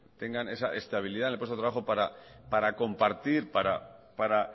tengan esa estabilidad en el puesto de trabajo para compartir para